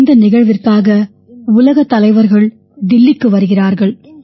இந்த நிகழ்விற்காக உலகத் தலைவர்கள் தில்லிக்கு வருகிறார்கள்